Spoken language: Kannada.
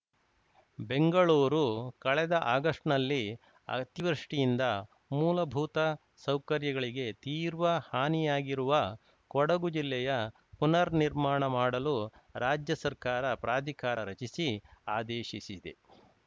ಬೆಂಗಳೂರು ಕಳೆದ ಆಗಸ್ಟ್‌ ನಲ್ಲಿ ಅತಿವೃಷ್ಟಿಯಿಂದ ಮೂಲಭೂತ ಸೌಕರ್ಯಗಳಿಗೆ ತೀರ್ವ ಹಾನಿಯಾಗಿರುವ ಕೊಡಗು ಜಿಲ್ಲೆಯ ಪುನರ್‌ ನಿರ್ಮಾಣ ಮಾಡಲು ರಾಜ್ಯ ಸರ್ಕಾರ ಪ್ರಾಧಿಕಾರ ರಚಿಸಿ ಆದೇಶಿಸಿದೆ